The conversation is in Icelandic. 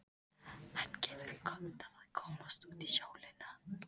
Hann hefur gott af að komast út í sólina.